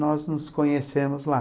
Nós nos conhecemos lá.